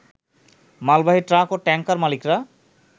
মালবাহী ট্রাক ও ট্যাংকার মালিকরা